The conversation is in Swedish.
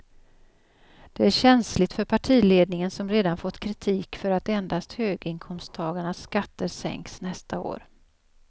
Det är känsligt för partiledningen som redan fått kritik för att endast höginkomsttagarnas skatter sänks nästa år.